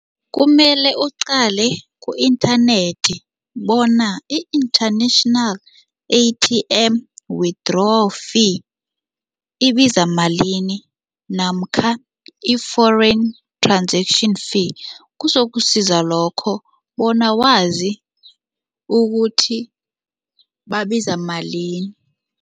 Kumele uqale ku-inthanethi bona i-international A_T_M withdraw fee ibiza malini namkha i-foreign transaction fee kuzokusiza lokho bona wazi ukuthi babiza malini.